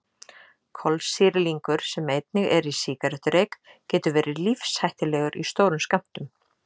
Kolsýrlingur sem einnig er í sígarettureyk getur verið lífshættulegur í stórum skömmtum.